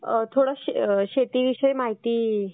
थोडं शेतीविषयी माहिती